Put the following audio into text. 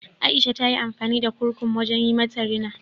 Aisha ta yi amfani da kurkum wajen yi mata rina.